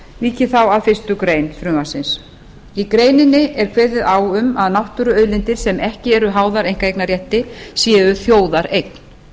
ég þá að fyrstu grein frumvarpsins í greininni er kveðið á um að náttúruauðlindir sem ekki eru háðar einkaeignarrétti séu þjóðareign